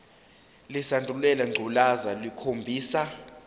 lesandulela ngculazi lukhombisa